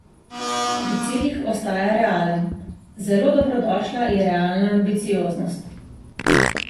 Pri ciljih ostaja realen: 'Zelo dobrodošla je realna ambicioznost.